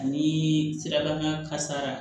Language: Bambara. Ani sirabakan kasara